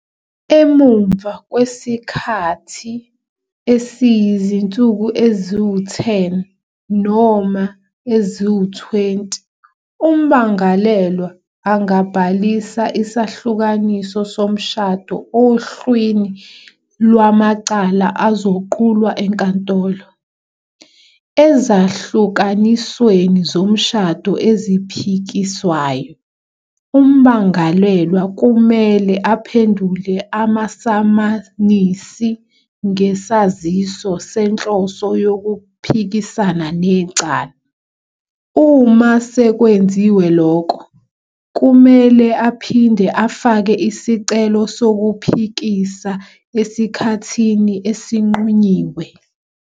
Emuva kwesikhathi esiyizinsuku eziyi-10 noma ezingama-20, ummangalelwa angabhalisa isahlukaniso somshado ohlwini lwamacala azoqulwa enkantolo. Ezahlukanisweni zomshado eziphikiswayo, ummangalelwa kumele aphendule amasamanisi ngesaziso senhloso yokuphikisana necala. "Uma sekwenziwe lokho, kumele aphinde afake isicelo sokuphikisa esikhathini esinqunyiwe.